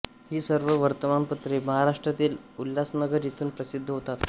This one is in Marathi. ही सर्व वर्तमानपत्रे महाराष्ट्रातील उल्हासनगर येथून प्रसिद्ध होतात